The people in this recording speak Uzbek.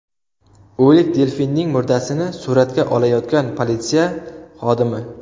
O‘lik delfinning murdasini suratga olayotgan politsiya xodimi.